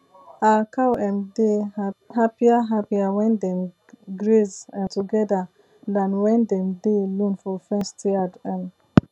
our cow um dey happier happier when dem graze um together than when dem dey alone for fenced yard um